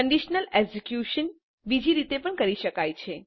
conditional execution બીજી રીતે પણ કરી શકાય છે